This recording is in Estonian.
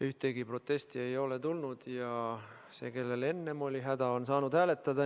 Ühtegi protesti ei ole tulnud, ka see, kellel enne oli häda, on saanud hääletada.